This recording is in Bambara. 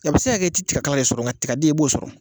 A bi se ka kɛ i ti tigakala de sɔrɔ ngaden i b'o sɔrɔ.